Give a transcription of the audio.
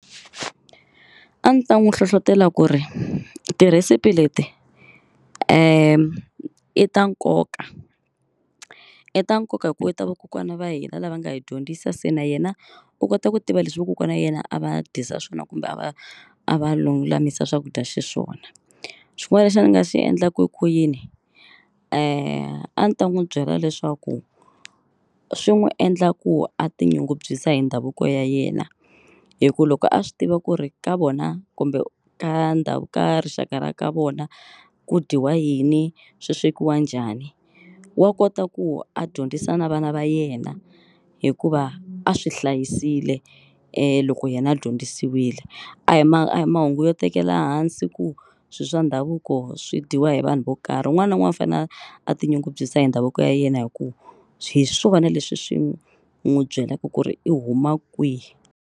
A ndzi ta n'wi hlohlotela ku ri tirhesipi leti i ta nkoka. I ta nkoka hikuva i ta vakokwani va hina lava nga hi dyondzisa se na yena u kota ku tiva leswi vakokwana wa yena a va dyisa swona kumbe a va a va lulamisa swakudya xiswona. Xin'wana lexi a ni nga xi endlaku ku yini a ni ta n'wi byela leswaku swi n'wi endla ku a tinyungubyisa hi ndhavuko ya yena hi ku loko a swi tiva ku ri ka vona kumbe ka ka rixaka ra ka vona ku dyiwa yini swi swekiwa njhani wa kota ku a dyondzisa na vana va yena hikuva a swi hlayisile loko yena a dyondzisiwile. A hi ma a hi mahungu yo tekela hansi ku swilo swa ndhavuko swi dyiwa hi vanhu vo karhi un'wana na un'wana u fanele a a tinyungubyisa hi ndhavuko ya yena hi ku swi hi swona leswi swi n'wi byelaka ku ri i huma kwihi.